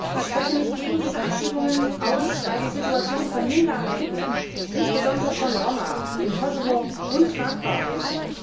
Ich spreche mich gegen diese Abschiebungen aus, weil die Situation von Minderheiten, insbesondere von Roma, im Kosovo untragbar ist.